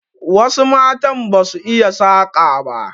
Wasu matan ba su iya saƙa ba.